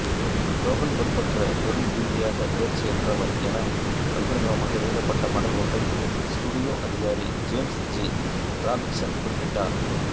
Logan பொறுப்பற்ற தொழில்ரீதியாகத் தேர்ச்சியற்றவர் என பகிரங்கமாக எழுதப்பட்ட மடல் ஒன்றில் ஸ்டூடியோ அதிகாரி ஜேம்ஸ் ஜி ராபின்சன் குறிப்பிட்டார்